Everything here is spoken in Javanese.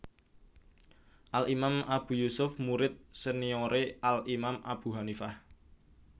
Al Imam Abu Yusuf murid seniore Al Imam Abu Hanifah